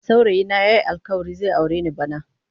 Saurayi na yayi alkawarin zai aure ni bana.